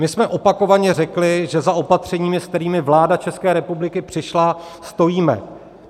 My jsme opakovaně řekli, že za opatřeními, se kterými vláda České republiky přišla, stojíme.